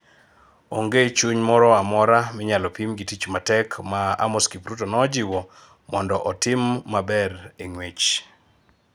Onge chuny moro amora minyalo pim gi tich matek ma Amos Kipruto nojiw mondo otim maber e ng'wech